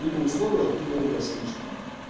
либо условиях хуевая слишком